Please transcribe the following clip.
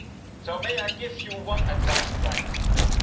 So, may I give you one piece of advice, Prime Minister?